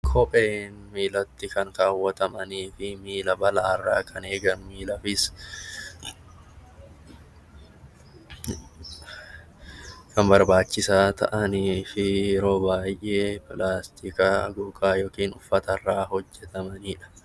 Kopheen miilatti kan kaawwatamaniifi miila balaarra kan eegan miilaafis kan barbaachisaa ta'aniifi yeroo baayyee pilaastika gogaa yookiin uffatarra hojjatamanidha.